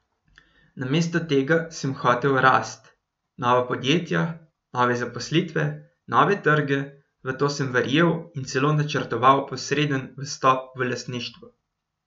Namesto tega sem hotel rast, nova podjetja, nove zaposlitve, nove trge, v to sem verjel in celo načrtoval posreden vstop v lastništvo ...